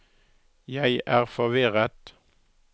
jeg er forvirret